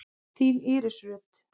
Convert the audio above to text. Þín Íris Rut.